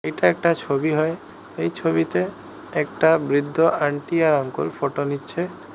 এটা একটা ছবি হয় এই ছবিতে একটা বৃদ্ধ আন্টি আর আঙ্কল ফটো নিচ্ছে।